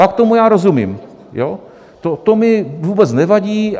Pak tomu já rozumím, to mi vůbec nevadí.